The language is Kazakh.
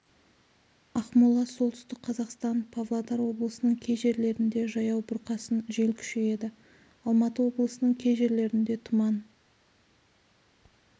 ақмола солтүстік қазақстан павлодар облысының кей жерлерінде жаяу бұрқасын жел күшейеді алматы облысының кей жерлерінде тұман